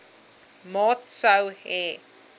maat sou hê